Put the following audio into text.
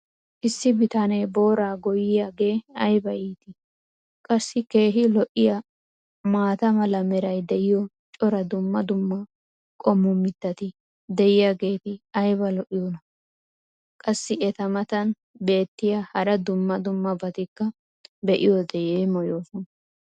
issi bitanee booraa goyiyaagee ayba iittii? qassi keehi lo'iyaa maata mala meray diyo cora dumma dumma qommo mitati diyaageti ayba lo'iyoonaa? qassi eta matan beetiya hara dumma dummabatikka be'iyoode yeemmoyoosona.